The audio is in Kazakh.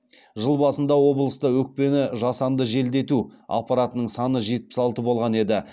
жыл басында облыста өкпені жасанды желдету аппаратының саны жетпіс алты болған еді